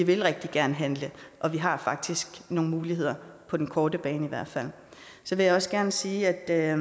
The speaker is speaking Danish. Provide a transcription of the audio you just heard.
vil rigtig gerne handle og vi har faktisk nogle muligheder på den korte bane så vil jeg også gerne sige er